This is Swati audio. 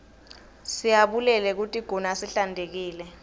siyabulele kutiguna sihlantekile